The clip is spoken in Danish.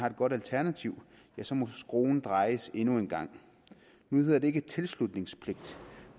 et godt alternativ så må skruen drejes endnu en omgang nu hedder det ikke tilslutningspligt